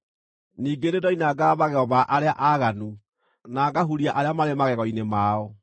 Ningĩ nĩndoinangaga magego ma arĩa aaganu, na ngahuria arĩa maarĩ magego-inĩ mao.